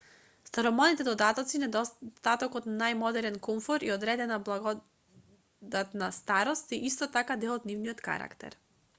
старомодните додатоци недостатокот на најмодерен комфор и одредена благодатна старост се исто така дел од нивниот карактер